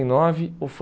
e nove ou